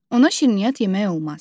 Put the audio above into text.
Ona şirniyyat yemək olmaz.